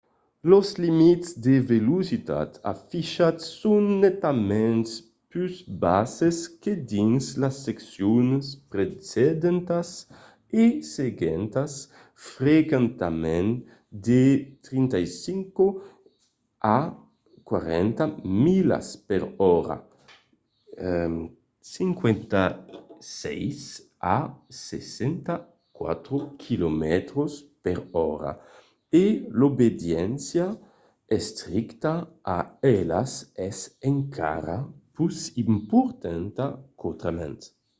los limits de velocitats afichats son netament pus basses que dins las seccions precedentas e seguentas — frequentament de 35 a 40 milas per ora 56 a 64 km/h — e l'obediéncia estricta a elas es encara pus importanta qu'autrament